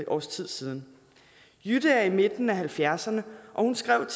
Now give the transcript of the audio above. års tid siden jytte er i midten af halvfjerdserne og hun skrev